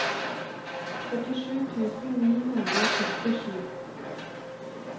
førtisju tusen ni hundre og sekstisju